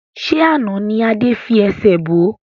Ṣé àná ni Adé fi ẹsẹ̀ bo?